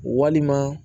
Walima